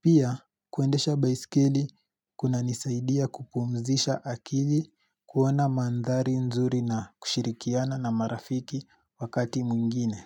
Pia, kuendesha baisikeli kunanisaidia kupumzisha akili kuona mandhari nzuri na kushirikiana na marafiki wakati mwingine.